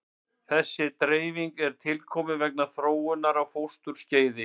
Þessi dreifing er tilkomin vegna þróunar á fósturskeiði.